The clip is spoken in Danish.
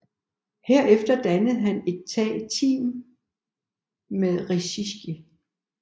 Herefter dannede han et tag team med Rikishi